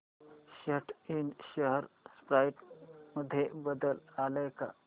सॅट इंड share price मध्ये बदल आलाय का